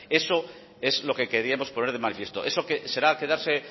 eso es lo que queríamos poner de manifiesto eso será quedarse